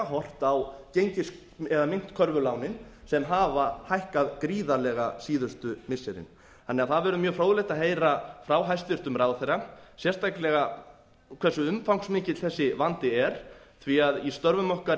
horft a myntkörfulánin sem hafa hækkað gríðarlega síðustu missirin það verður því mjög fróðlegt að heyra frá hæstvirtum ráðherra sérstaklega hversu umfangsmikill þessi vandi er því að í störfum okkar